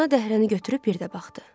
Ana dəhrəni götürüb bir də baxdı.